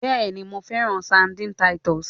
Bẹẹni, Mo fẹran Sardines Titus